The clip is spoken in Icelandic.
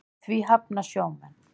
Því hafna sjómenn.